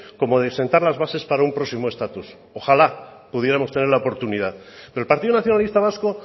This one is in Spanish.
como de sentar las bases para un próximo estatus ojalá pudiéramos tener la oportunidad pero el partido nacionalista vasco